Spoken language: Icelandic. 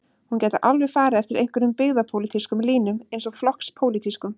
Hún gæti alveg farið eftir einhverjum byggðapólitískum línum eins og flokkspólitískum.